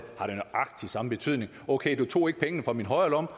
nøjagtig samme betydning okay du tog ikke pengene fra min højre